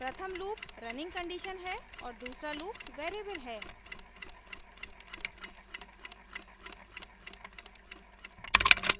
प्रथम loop running condition है और दूसरा loop variable है